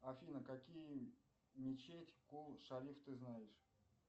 афина какие мечеть кул шариф ты знаешь